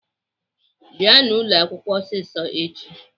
Bịanụ ụlọakwụkwọ ọsịsọ echi!